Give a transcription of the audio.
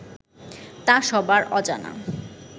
তা সবার অজানা